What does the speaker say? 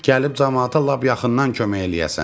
Gəlib camaata lap yaxından kömək eləyəsən.